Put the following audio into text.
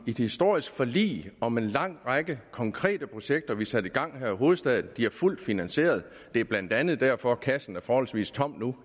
historisk forlig om en lang række konkrete projekter som vi satte i gang her i hovedstaden de er fuldt finansierede det er blandt andet derfor at kassen er forholdsvis tom nu